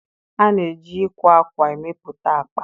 A na-eji ịkwa akwa emepụta akpa.